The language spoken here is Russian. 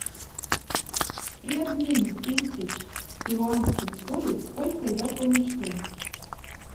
при обмене тысяч перуанских солей сколько я получу